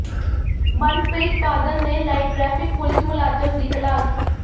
ਮਨਪ੍ਰੀਤ ਬਾਦਲ ਨੇ ਲਾਈ traffic police ਮੁਲਾਜ਼ਮ ਦੀ ਕਲਾਸ